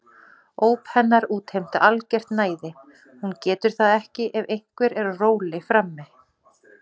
Óp hennar útheimta algert næði, hún getur það ekki ef einhver er á róli frammi.